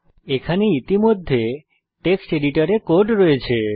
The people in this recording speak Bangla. এখানে ইতিমধ্যে টেক্সট এডিটর এ কোড রয়েছে